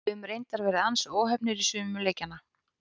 Höfum reyndar verið ansi óheppnir í sumum leikjanna.